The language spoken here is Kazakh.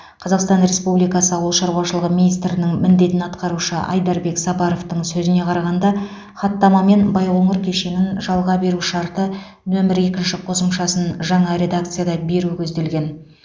қазақстан республикасы ауыл шаруашылығы министрінің міндетін атқарушы айдарбек сапаровтың сөзіне қарағанда хаттамамен байқоңыр кешенін жалға беру шарты нөмірі екінші қосымшасын жаңа редакцияда беру көзделген